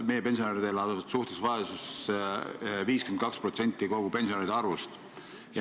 Meie pensionärid elavad suhtelises vaesuses, 52% kõigist pensionäridest.